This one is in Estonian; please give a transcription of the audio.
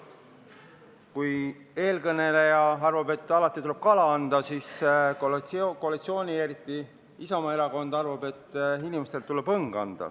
Kui eelkõneleja arvab, et alati tuleb kala anda, siis koalitsioon, aga eriti Isamaa erakond, arvab, et inimestele tuleb anda õng.